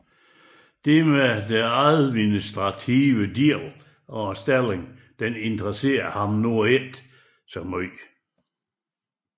Den administrative del af stillingen interesserede ham ikke så meget